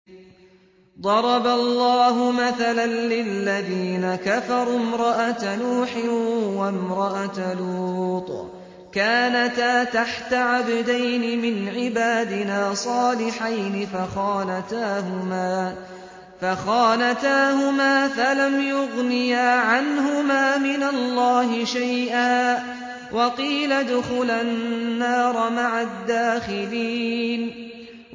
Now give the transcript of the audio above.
ضَرَبَ اللَّهُ مَثَلًا لِّلَّذِينَ كَفَرُوا امْرَأَتَ نُوحٍ وَامْرَأَتَ لُوطٍ ۖ كَانَتَا تَحْتَ عَبْدَيْنِ مِنْ عِبَادِنَا صَالِحَيْنِ فَخَانَتَاهُمَا فَلَمْ يُغْنِيَا عَنْهُمَا مِنَ اللَّهِ شَيْئًا وَقِيلَ ادْخُلَا النَّارَ مَعَ الدَّاخِلِينَ